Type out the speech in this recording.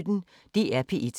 DR P1